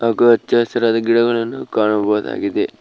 ಹಾಗು ಹಚ್ಚ ಹಸಿರಾದ ಗಿಡಗಳನ್ನು ಕಾಣಬಹುದಾಗಿದೆ.